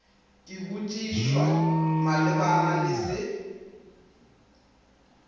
ka botšišwa malebana le se